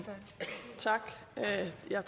det er